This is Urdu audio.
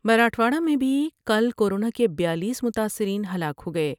مراٹھواڑہ میں بھی کل کورونا کے بیالیس رمتا ثر ین ہلاک ہو گئے ۔